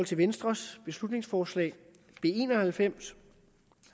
til venstres beslutningsforslag b en og halvfems